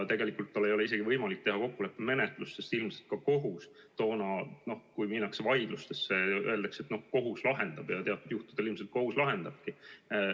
Tegelikult tal ei ole isegi võimalik valida kokkuleppemenetlust, sest kui minnakse vaidlustesse, siis öeldakse, et kohus lahendab asja, ja teatud juhtudel ilmselt kohus lahendabki.